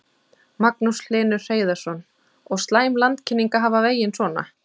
Magnús Hlynur Hreiðarsson: Og slæm landkynning að hafa vegina svona?